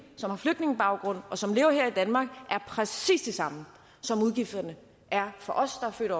som har flygtningebaggrund og som lever her i danmark præcis de samme som udgifterne er for os der er født